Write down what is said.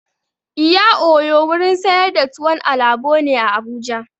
Iya oyo wurin sayar da tuwon alabo ne a Abuja.